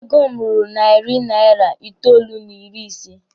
Ego m ruru narị naira itoolu n'ịrị ise.